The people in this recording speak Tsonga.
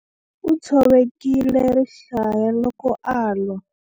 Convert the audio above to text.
U tshovekile rihlaya loko a lwa.